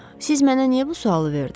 Siz mənə niyə bu sualı verdiz?